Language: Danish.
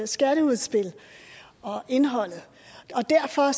skatteudspil og indholdet og derfor